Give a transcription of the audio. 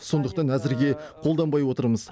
сондықтан әзірге қолданбай отырмыз